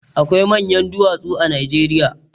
Akwai manyan duwatsu a Najeriya.